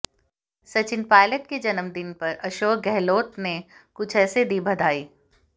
सचिन पायलट के जन्मदिन पर अशोक गहलोत ने कुछ ऐसे दी बधाई